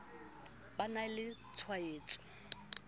ba e na le tshwaetso